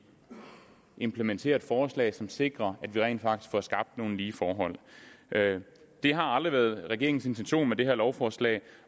implementerer et forslag som sikrer at man rent faktisk får skabt nogle lige forhold det har aldrig været regeringens intention med det her lovforslag